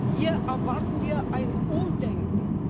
Hier erwarten wir ein Umdenken!